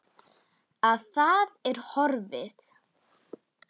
Að það er horfið!